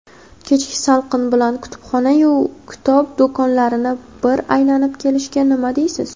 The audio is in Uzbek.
Kechki salqin bilan kutubxona-yu kitob do‘konlarini bir aylanib kelishga nima deysiz?.